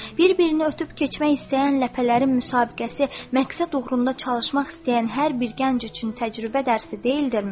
Bir-birini ötüb keçmək istəyən ləpələrin müsabiqəsi məqsəd uğrunda çalışmaq istəyən hər bir gənc üçün təcrübə dərsi deyildirmi?